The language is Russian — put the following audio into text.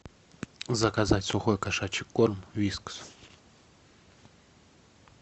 заказать сухой кошачий корм вискас